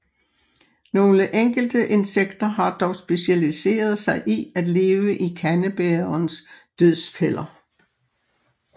Nogle enkelte insekter har dog specialiseret sig i at leve i kandebærerens dødsfælder